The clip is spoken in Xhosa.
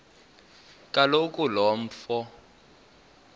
kaloku lo mfo